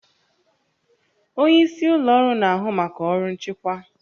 Onye isi ụlọ ọrụ na-ahụ maka ọrụ nchịkwa